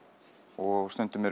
og stundum